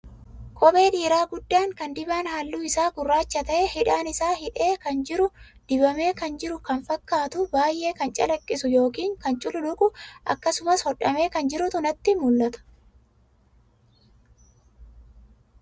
Kophee dhiiraa guddaa kan dibaan halluu isaa gurraacha ta'e, hidhaan isaa hidhee kan jiru, dibamee kan jiru kan fakkaatu, baay'ee kan calaqqisu yookaan kan cululuqu akkasumas hodhamee kan jirutu natti mul'ata.